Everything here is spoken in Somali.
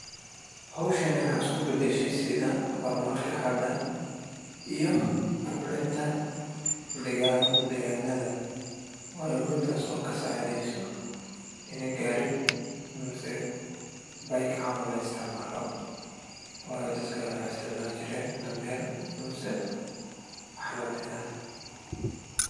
Howshan waxeey isku badashe sida hor marka hada iyo kobcinta deganada, waayo mida oo kasacideeso in gaari mise la isticmaalo, waayo dadki hore waxeey isticmaali jireen dameer mise wax lamid ah.